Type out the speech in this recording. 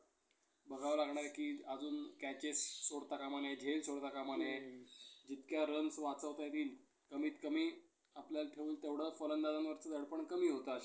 दुसऱ्या पांडुरंगाला खऱ्या अर्थाने मुक्त केले, असे त्या वेळी म्हटले गेले. स्वातंत्र्य मिळाल्या मिळाल्यानंतर ते समाजवादी पक्षात अं सामील झाले.